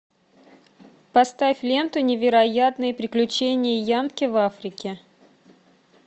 поставь ленту невероятные приключения янки в африке